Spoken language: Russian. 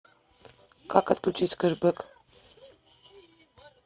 как отключить кэшбек